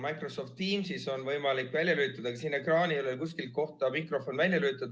Microsoft Teamsis on võimalik välja lülitada, aga siin ekraanil ei ole kuskil kohta, kust saab mikrofoni välja lülitada.